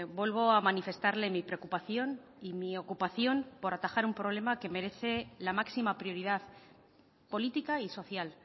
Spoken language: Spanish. vuelvo a manifestarle mi preocupación y mi ocupación por atajar un problema que merece la máxima prioridad política y social